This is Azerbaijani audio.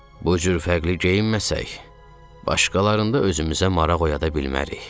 Bu cür fərqli geyinməsək, başqalarında özümüzə maraq oyada bilmərik.